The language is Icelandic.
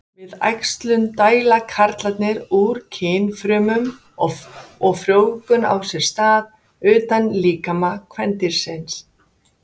Við æxlun dæla karlarnir út kynfrumum og frjóvgun á sér stað utan líkama kvendýrsins.